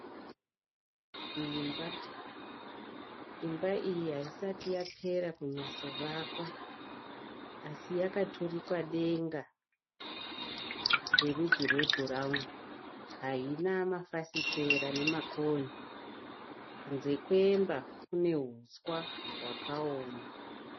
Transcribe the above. Imba ,imba iyi ayisati yapera kunyastovakwa. Asi yakaturikwa denga rerudzi rwe burawuni, ayina ma fasitera nema koni kunze kwemba kune huswa wakawoma.